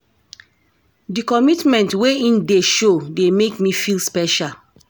Di commitment wey im dey show dey make me feel special.